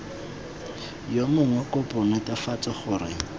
yo mongwe kopo netefatsa gore